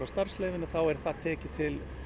starfsleyfi þá er það tekið til